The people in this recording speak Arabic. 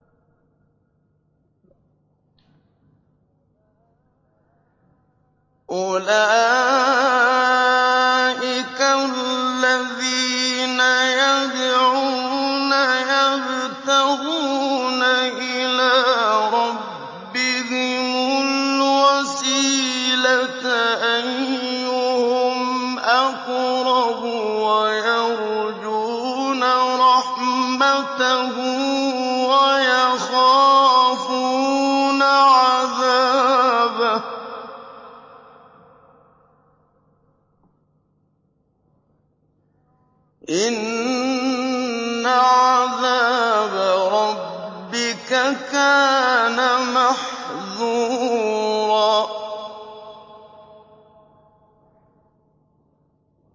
أُولَٰئِكَ الَّذِينَ يَدْعُونَ يَبْتَغُونَ إِلَىٰ رَبِّهِمُ الْوَسِيلَةَ أَيُّهُمْ أَقْرَبُ وَيَرْجُونَ رَحْمَتَهُ وَيَخَافُونَ عَذَابَهُ ۚ إِنَّ عَذَابَ رَبِّكَ كَانَ مَحْذُورًا